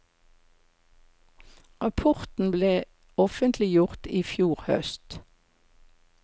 Rapporten ble offentliggjort i fjor høst.